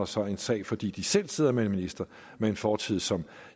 så en sag fordi de selv sidder med en minister med en fortid som